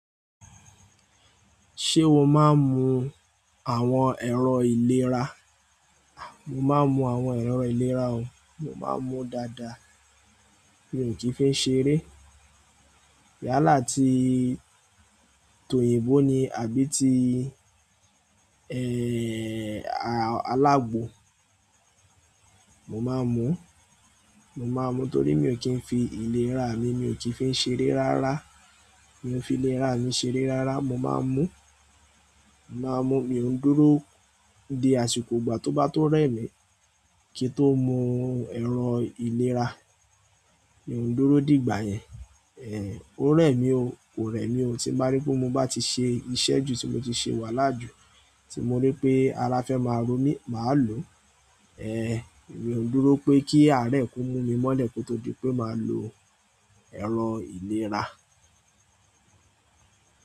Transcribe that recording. Ṣé o máa ń mu àwọn ẹ̀rọ ìlera? A, mo máa ń mu àwọn ẹ̀rọ ìlera o, mo máa ń mu dada. Mi ò kí ń fi ń ṣeré. Yálà ti tòyìnbó ni àbí ti, ẹ́, alágbo. Mo máa ń mu, mo máa ń mu torí mi ò kí ń fi ìlera mi, mi ò kí ń fi ń ṣeré rárá. Mi ò fi ìlera mi ṣeré rárá, mo máa ń mu, mo máa ń mu. Mi ò ń dúró di àsìkò ìgbà tó bá tó rẹ̀ mi kí n tó mu ẹ̀rọ ìlera. Mi ò ń dúró dìgbà yẹn, ẹ́, ó rẹ̀ mi ó kò rẹ̀ mi, ó ti bá rí pé mo bá ti ṣe iṣẹ́ jù tí mo ti ṣe wàhálà jù tí mo rí pé ara fẹ́ máa ro mí, màá lo. Èmi o dúró pé kí ààrẹ kó mú mí mọlé kó tó di pé máa lò èrọ̀ ìlera.